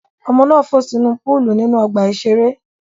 Ọmọ náà fò sínú púúlù nínú ọgbà-ìṣeré.